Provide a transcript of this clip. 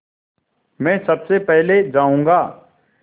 मैं सबसे पहले जाऊँगा